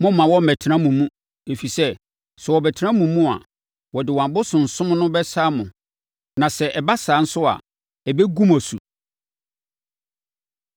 Mommma wɔmmɛtena mo mu, ɛfiri sɛ, sɛ wɔbɛtena mo mu a, wɔde wɔn abosonsom no bɛsane mo na sɛ ɛba saa nso a, ɛbɛgu mo asu.”